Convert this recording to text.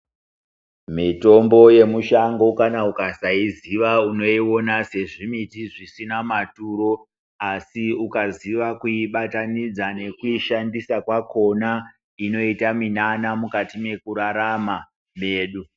Mitombo yemushango kana ukasaiziya unoiona sezvimiti zvisina maturo asi ukaziya kuibatanidza nekuishandisa kwakona inoita minana mukati mwekurarama kwedu.